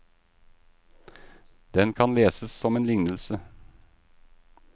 Den kan leses som en lignelse.